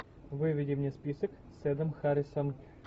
выведи мне список с эдом харрисом